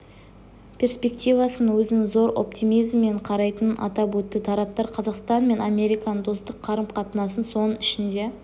перспективасына өзінің зор оптимизммен қарайтынын атап өтті тараптар қазақстан мен американың достық қарым-қатынасын соның ішінде